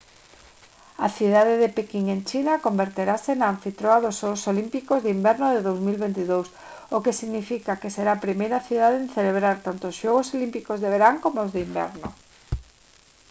a cidade de pequín en china converterase na anfitrioa dos xogos olímpicos de inverno de 2022 o que significa que será a primeira cidade en celebrar tanto os xogos olímpicos de verán coma os de inverno